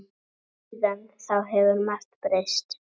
Síðan þá hefur margt breyst.